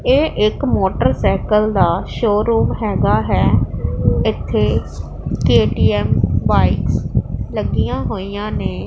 ਇਹ ਇੱਕ ਮੋਟਰਸਾਈਕਲ ਦਾ ਸ਼ੋਰੂਮ ਹੈਗਾ ਹੈ ਇੱਥੇ ਕੇ_ਟੀ_ਐਮ ਬਾਇਕਸ ਲੱਗੀਆਂ ਹੋਈਆਂ ਨੇ।